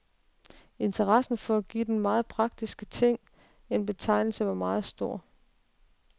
Interessen for at give den meget praktiske ting en betegnelse var meget stor.